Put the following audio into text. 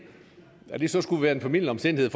skulle være en formildende omstændighed